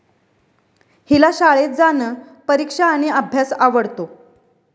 हिला शाळेत जाणं, परीक्षा आणि अभ्यास आवडतो.